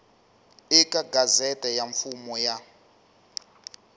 eka gazette ya mfumo ya